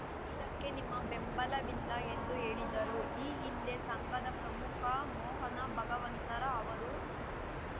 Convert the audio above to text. ಇದಕ್ಕೆ ನಿಮ್ಮ ಬೆಂಬಲವಿಲ್ಲ ಎಂದು ಹೇಳಿದರು ಈ ಹಿಂದೆ ಸಂಘದ ಪ್ರಮುಖ ಮೋಹನ ಭಗವಂತರ ಅವರು